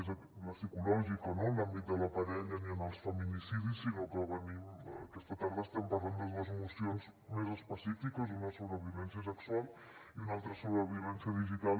més la psicològica no en l’àmbit de la parella ni en els feminicidis sinó que aquesta tarda estem parlant de dues mocions més específiques una sobre violència sexual i una altra sobre violència digital